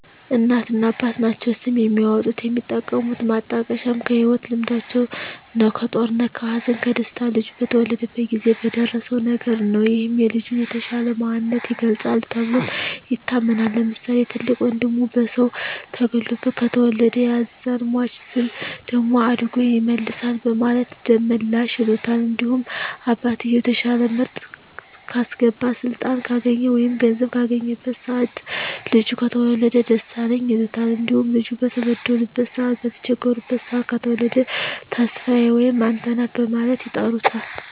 እናትና አባት ናቸዉ ስም የሚያወጡት። የሚጠቀሙት ማጣቀሻም ከህይወት ልምዳቸዉ ነዉ(ከጦርነት ከሀዘን ከደስታ ልጁ በተወለደበት ጊዜ በደረሰዉ ነገር) ነዉ ይህም የልጁን የተሻለ ማንነት ይገልፃል ተብሎም ይታመናል። ለምሳሌ፦ ትልቅ ወንድሙ በሰዉ ተገሎበት ከተወለደ ያዛን ሟች ልጅ ደም አድጎ ይመልሳል በማለት ደመላሽ ይሉታል። እንዲሁም አባትየዉ የተሻለ ምርት ካስገባ ስልጣን ካገኘ ወይም ገንዘብ ካገኘበት ሰአት ልጁ ከተወለደ ደሳለኝ ይሉታል። እንዲሁም ልጁ በተበደሉበት ሰአት በተቸገሩበት ሰአት ከተወለደ ተስፋየ ወይም አንተነህ በማለት ይጠሩታል።